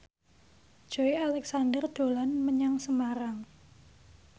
Joey Alexander dolan menyang Semarang